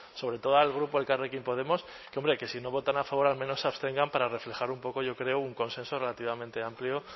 sobre todo al grupo elkarrekin podemos que hombre que si no votan a favor al menos se abstengan para reflejar un poco yo creo un consenso relativamente amplio